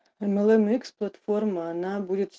млникс платформа она будет